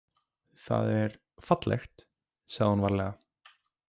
Það er fallegt, sagði hún varlega.